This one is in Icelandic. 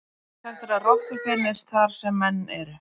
Sagt er að rottur finnist þar sem menn eru.